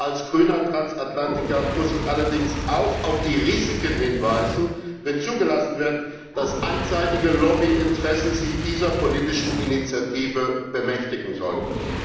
Als grüner Transatlantiker muss ich allerdings auch auf die Risiken hinweisen, wenn zugelassen wird, dass einseitige Lobbyinteressen sich dieser politischen Initiative bemächtigen sollten.